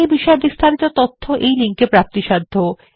এই বিষয় বিস্তারিত তথ্য এই লিঙ্ক এ প্রাপ্তিসাধ্য